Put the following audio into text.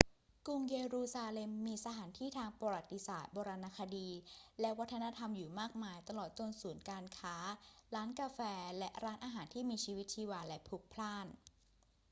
กรุงเยรูซาเล็มมีสถานที่ทางประวัติศาสตร์ โบราณคดี และวัฒนธรรมอยู่มากมาย ตลอดจนศูนย์การค้า ร้านกาแฟ และร้านอาหารที่มีชีวิตชีวาและพลุกพล่าน